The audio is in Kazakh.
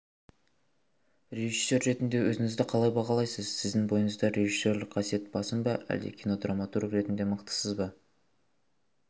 режиссер ретінде өзіңізді қалай бағалайсыз сіздің бойыңызда режиссерлік қасиет басым ба әлде кинодраматург ретінде мықтысыз ба